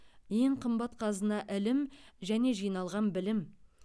ең қымбат қазына ілім және жиналған білім